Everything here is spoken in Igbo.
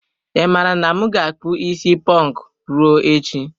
I mara na m na akpu isi ponku ruo echi.